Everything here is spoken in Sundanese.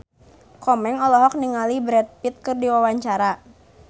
Komeng olohok ningali Brad Pitt keur diwawancara